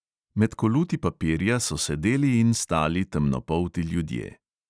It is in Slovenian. Med koluti papirja so sedeli in stali temnopolti ljudje.